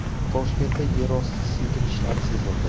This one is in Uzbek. Toshkentda yerosti silkinishlari sezildi .